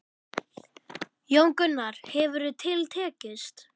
Jón Gunnar, hvernig hefur til tekist?